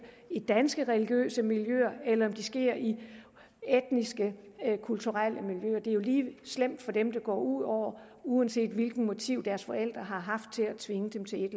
i danske religiøse miljøer eller det sker i etnisk kulturelle miljøer det er jo lige slemt for dem det går ud over uanset hvilket motiv deres forældre har haft til at tvinge dem til et